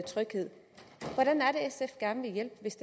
tryghed hvordan er sf gerne vil hjælpe hvis